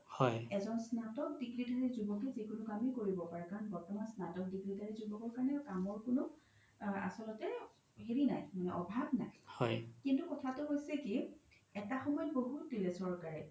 এজ্ন স্নাতক degree ধাৰি জোবকে জিকোনো কামে কৰিব কাৰন বৰ্তমান স্নাতক degree ধাৰি জোবকৰ কাৰনে কামৰ কোনো হেৰি নাই অভাৱ নাই কিন্তু কথাতো হৈছে কি এটা সময়ত বহুত দিলে চৰকাৰে